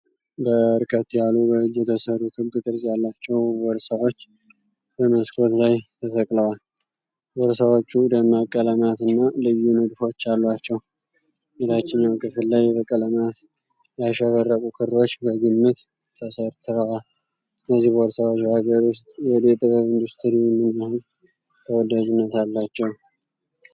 በርከት ያሉ በእጅ የተሰሩ ክብ ቅርፅ ያላቸው ቦርሳዎች በመስኮት ላይ ተሰቅለዋል። ቦርሳዎቹ ደማቅ ቀለማትና ልዩ ንድፎች አሏቸው። የታችኛው ክፍል ላይ በቀለማት ያሸበረቁ ክሮች በግምት ተሰርተዋል። እነዚህ ቦርሳዎች በአገር ውስጥ የእደ ጥበብ ኢንዱስትሪ ምን ያህል ተወዳጅነት አላቸው?